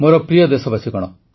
ମୋର ପ୍ରିୟ ଦେଶବାସୀଗଣ